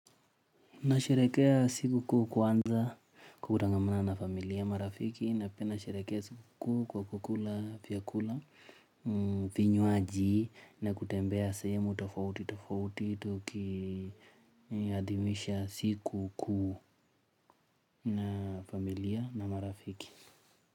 Nasherekea siku kuu kwanza kutangamana na familia, marafiki na pia nasherekea siku kuu kwa kukula vyakula, vinywaji na kutembea sehemu tofauti tofauti tukiadhimisha siku kuu na familia na marafiki.